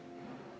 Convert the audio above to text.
Palun lisaaega!